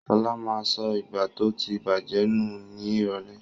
Ṣọlá ma sọ ìgbá tó ti bàjẹ́ nù ní ìrọ̀lẹ́.